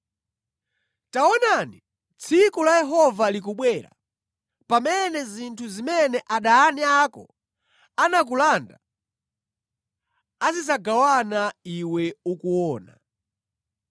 Taonani tsiku la Yehova likubwera pamene zinthu zimene adani ako anakulanda azidzagawana iwe ukuona.